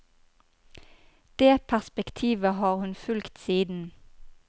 Det perspektivet har han fulgt siden.